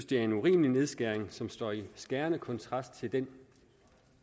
det er en urimelig nedskæring som står i skærende kontrast til den